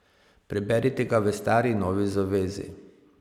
Preberite ga v Stari in Novi zavezi.